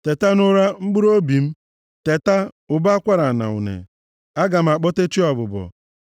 Teta nʼụra mkpụrụobi m! Teta, ụbọ akwara na une! Aga m akpọte chi ọbụbọ.